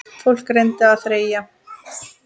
Fólk reyndi að þreyja.